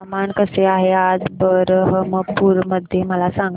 हवामान कसे आहे आज बरहमपुर मध्ये मला सांगा